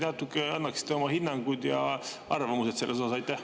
Äkki te annaksite oma hinnangu ja arvamuse selle kohta?